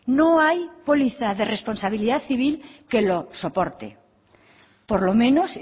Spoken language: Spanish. no hay póliza de responsabilidad civil que lo soporte por lo menos